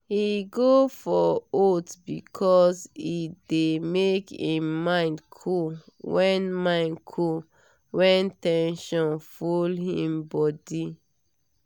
he go for oats because e dey make him mind cool when mind cool when ten sion full him body.